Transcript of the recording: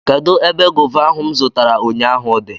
Kedụ ebe gọva ahụ m zụtara ụnyaahụ dị?